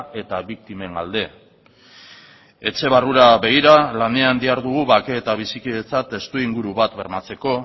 eta biktimen alde etxe barrura begira lanean dihardugu bake eta bizikidetza testuinguru bat bermatzeko